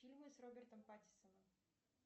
фильмы с робертом паттинсоном